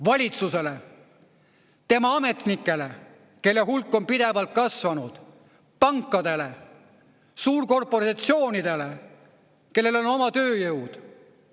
Valitsusele, tema ametnikele, kelle hulk on pidevalt kasvanud, pankadele, suurkorporatsioonidele, kellel on oma tööjõud.